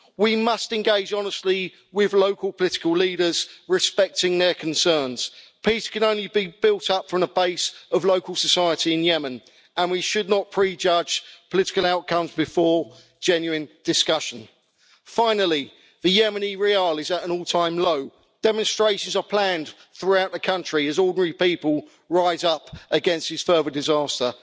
We must engage honestly with local political leaders, respecting their concerns. Peace can only be built up from the base of local society in Yemen and we should not prejudge political outcomes before genuine discussion. Finally, the Yemeni rial is at an all time low. Demonstrations are planned throughout the country as ordinary people rise up against this further disaster.